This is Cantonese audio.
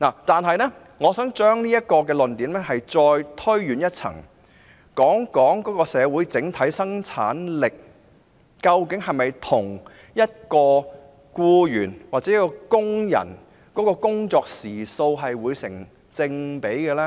然而，我想將這論點推展至更高層次，談談社會的整體生產力：究竟僱員的生產力是否與其工作時數成正比呢？